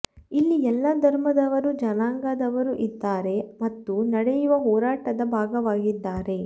ಇಲ್ಲಿ ಎಲ್ಲ ಧರ್ಮದವರು ಜನಾಂಗದವರೂ ಇದ್ದಾರೆ ಮತ್ತು ನಡೆಯುವ ಹೋರಾಟದ ಭಾಗವಾಗಿದ್ದಾರೆ